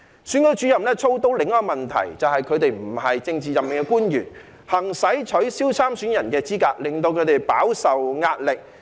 選舉主任操刀的另一個問題，就是他們不是政治任命的官員，行使取消參選人的資格，令他們飽受壓力。